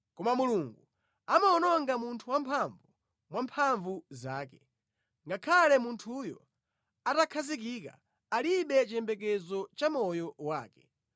Koma Mulungu amawononga munthu wamphamvu mwa mphamvu zake; ngakhale munthuyo atakhazikika, alibe chiyembekezo cha moyo wake.